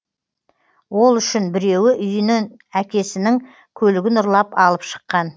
ол үшін біреуі үйінен әкесінің көлігін ұрлап алып шыққан